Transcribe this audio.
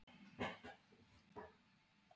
Verður Hólmar varaskeifa fyrir Birki Má í Rússlandi?